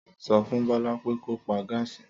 Sọfún Bọlá pé kò pá gássí.